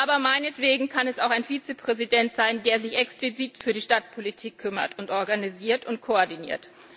Aber meinetwegen kann es auch ein Vizepräsident sein, der sich explizit um die Stadtpolitik kümmert, diese organisiert und koordiniert.